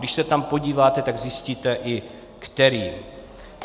Když se tam podíváte, tak zjistíte i kterým.